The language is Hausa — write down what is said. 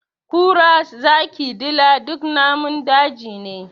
Kura, zaki, dila duk namun daji ne.